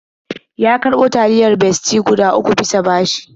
Ya karɓo taliyar Bestie guda uku bisa bashi.